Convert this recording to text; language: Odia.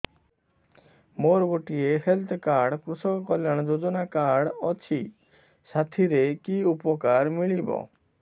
ମୋର ଗୋଟିଏ ହେଲ୍ଥ କାର୍ଡ କୃଷକ କଲ୍ୟାଣ ଯୋଜନା କାର୍ଡ ଅଛି ସାଥିରେ କି ଉପକାର ମିଳିବ